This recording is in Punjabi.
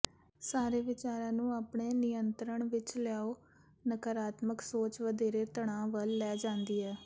ਸਾਰੇ ਵਿਚਾਰਾਂ ਨੂੰ ਆਪਣੇ ਨਿਯੰਤਰਣ ਵਿੱਚ ਲਿਆਓ ਨਕਾਰਾਤਮਕ ਸੋਚ ਵਧੇਰੇ ਤਣਾਅ ਵੱਲ ਲੈ ਜਾਂਦੀ ਹੈ